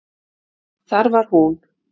Þar var hún.